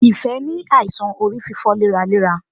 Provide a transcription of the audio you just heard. Ìfẹ́ ní àìsàn orí fífọ léraléra.